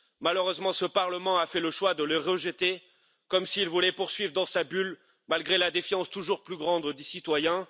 Malheureusement, ce Parlement a fait le choix de les rejeter, comme s'il voulait poursuivre dans sa bulle, malgré la défiance toujours plus grande des citoyens.